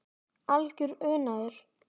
Algjör unaður.